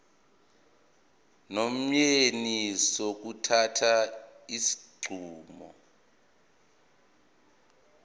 nomyeni sokuthatha isinqumo